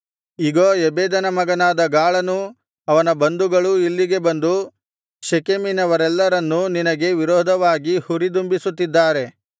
ಇಗೋ ಎಬೆದನ ಮಗನಾದ ಗಾಳನೂ ಅವನ ಬಂಧುಗಳೂ ಇಲ್ಲಿಗೆ ಬಂದು ಶೆಕೆಮಿನವರೆಲ್ಲರನ್ನೂ ನಿನಗೆ ವಿರೋಧವಾಗಿ ಹುರಿದುಂಬಿಸುತ್ತಿದ್ದಾರೆ